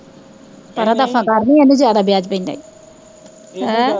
ਏਹਨਾ ਦਾ ਨੀ ਏਹਦਾ ਜ਼ਿਆਦਾ ਵਿਆਜ਼ ਪੈਂਦਾ ਈ